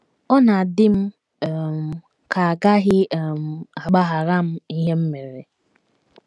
Ọ na - adị m um ka a gaghị um agbaghara m ihe m mere.